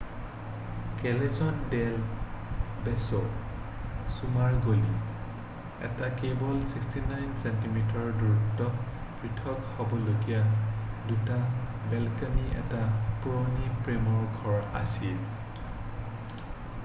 কেলেজন দেল বেছো চুমাৰ গলি । কেৱল ৬৯ ছেন্টিমিটাৰৰ দূৰত্বত পৃথক হব লগীয়া দুটা বেলকণি এটা পুৰণি প্ৰেমৰ ঘৰ আছিল ।